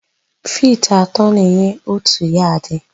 Fiti atọ na-enye òtù yadị.